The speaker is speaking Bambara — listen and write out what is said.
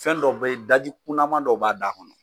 Fɛn dɔ be yen ,daji kunaman dɔw b'a da kɔnɔ.